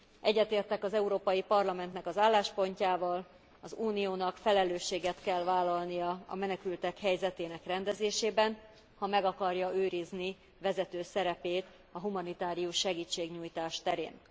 Egyetértek az Európai Parlamentnek az álláspontjával, az Uniónak felelősséget kell vállalnia a menekültek helyzetének rendezésében, ha meg akarja őrizni vezető szerepét a humanitárius segítségnyújtás terén.